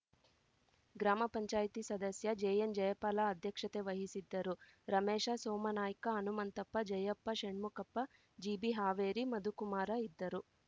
ಗ್ರಾಮ ಪಂಚಾಯತಿ ಸದಸ್ಯ ಜೆಎನ್‌ಜಯಪಾಲ ಅಧ್ಯಕ್ಷತೆ ವಹಿಸಿದ್ದರು ರಮೇಶ ಸೋಮನಾಯ್ಕ ಹನುಮಂತಪ್ಪ ಜಯಪ್ಪ ಷಣ್ಮುಖಪ್ಪ ಜಿಬಿಹಾವೇರಿ ಮಧುಕುಮಾರ ಇದ್ದರು